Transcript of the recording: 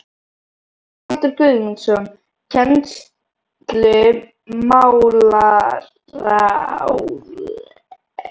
Haraldur Guðmundsson, kennslumálaráðherra, múrar hornstein háskólabyggingar